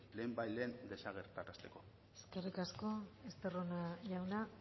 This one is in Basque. lehenbailehen desagerrarazteko eskerrik asko estarrona jauna